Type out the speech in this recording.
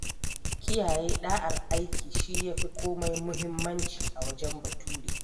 Kiyaye ɗa’ar aiki shi ya fi komai muhimmanci a wajen Bature.